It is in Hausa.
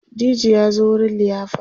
DJ ya zo wurin liyafar